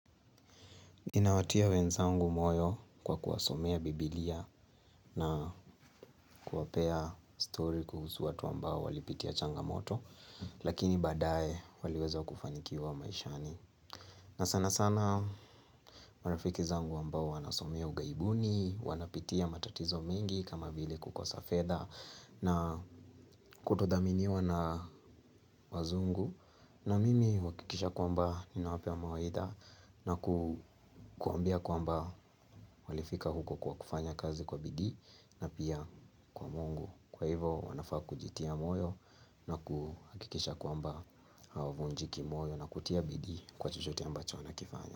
Ninawatia wenzangu moyo kwa kuwasomea biblia na kuwapea story kuhusu watu ambao walipitia changamoto. Lakini baadae waliweza kufanikiwa maishani, na sana sana marafiki zangu ambao wanasomea ugaibuni, wanapitia matatizo mingi kama vile kukosa fedha na kutodhaminiwa na wazungu na mimi huhakikisha kwamba ninawapea mawaidha na kuwaambia kwamba walifika huko kwa kufanya kazi kwa bidii na pia kwa mungu. Kwa hivo wanafaa kujitia moyo na kuhakikisha kwamba hawavunjiki moyo na kutia bidii kwa chochote ambacho wanakifanya.